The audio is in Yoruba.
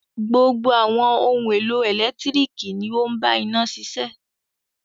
Gbogbo àwọn ohun-èlò ẹ̀lẹ́tíríkì ni ó ń bá iná ṣiṣẹ́.